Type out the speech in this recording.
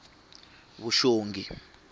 vuxongi